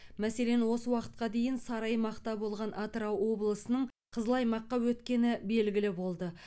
мәселен осы уақытқа дейін сары аймақта болған атырау облысының қызыл аймаққа өткені белгілі болды